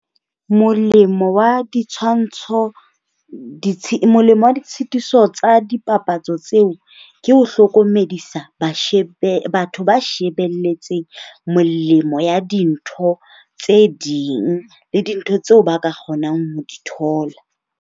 Molemo wa ditshwantsho molemo wa ditshitiso wa dipapatso tseo ke ho hlokomedisa batho ba shebelletseng molemo ya dintho tse ding le dintho tseo ba ka kgonang ho di thola.